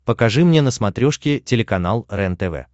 покажи мне на смотрешке телеканал рентв